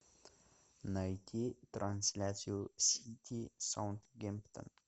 найти трансляцию сити саутгемптон